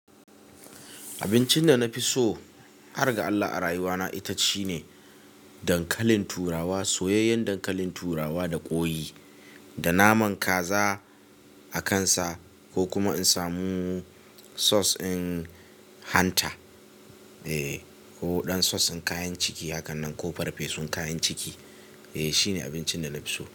Abincin da na fi so har ga Allah a rayuwa na ita shine dankalin turawa, soyayyen dankalin turawa da ƙwoi, da naman kaza a kansa ko kuma in samu sauce ɗin hanta, eh, ko waɗansu sauce ɗin kayan ciki hakan nan ko farfesun kayan ciki, eh, shine abincin da na fi so.